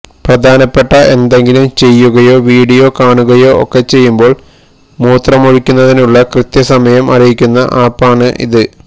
പ്രധാനപ്പെട്ട എന്തെങ്കിലും ചെയ്യുകയോ വീഡിയോ കാണുകയോ ഒക്കെ ചെയ്യുമ്പോള് മൂത്രമൊഴിക്കുന്നതിനുള്ള കൃത്യ സമയം അറിയിക്കുന്ന ആപ് ആണ് ഇത്